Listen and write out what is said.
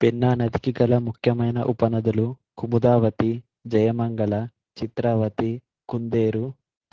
పెన్నా నదికి గల ముఖ్యమైన ఉపనదులు కుముదావతి జయమంగళ చిత్రావతి కుందేరు